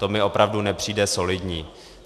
To mi opravdu nepřijde solidní.